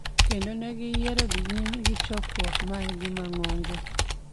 kendo ne giyiero dhi nyime gi chokruok margi mang'ongo